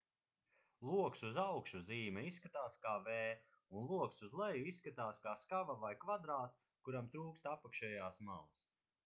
loks uz augšu zīme izskatās kā v un loks uz leju izskatās kā skava vai kvadrāts kuram trūkst apakšējās malas